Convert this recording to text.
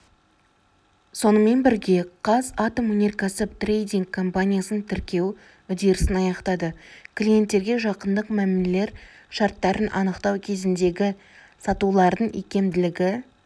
сонымен бірге қазатомөнеркәсіп трейдинг компаниясын тіркеу үдерісін аяқтады клиенттерге жақындық мәмілелер шарттарын анықтау кезіндегі сатулардың икемділігі